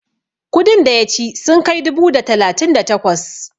kudin da ya ci sun kai dubu da talatin da takwas?